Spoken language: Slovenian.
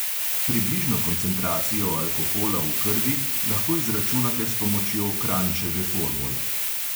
Približno koncentracijo alkohola v krvi lahko izračunate s pomočjo kranjčeve formule.